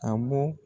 A bɔ